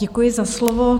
Děkuji za slovo.